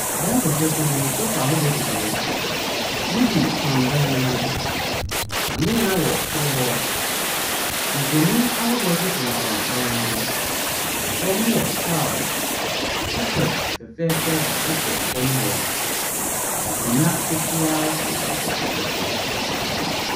Dan fɛfɛɛfɛ bi mu. Sofa ahodoɔ sisi hɔ. TV fam dan no ho. Kanea wɔ soro hɔ. Mfonin ahodoɔ nso femfam dan no ho. Fam no yɛ tiles. Carpet fɛfɛɛfɛ sɛ fam hɔ. Akonnwa ketewa si carpet no so.